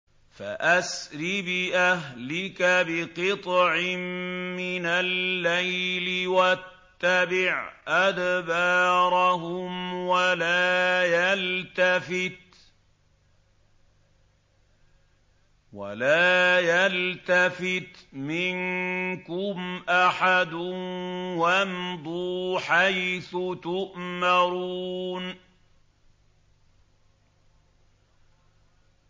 فَأَسْرِ بِأَهْلِكَ بِقِطْعٍ مِّنَ اللَّيْلِ وَاتَّبِعْ أَدْبَارَهُمْ وَلَا يَلْتَفِتْ مِنكُمْ أَحَدٌ وَامْضُوا حَيْثُ تُؤْمَرُونَ